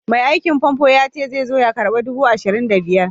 Mai aikin famfo yace zai karɓi nera dubu ashirin da biyar.